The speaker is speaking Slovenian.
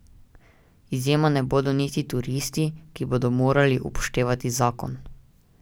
Izjema ne bodo niti turisti, ki bodo morali upoštevati zakon.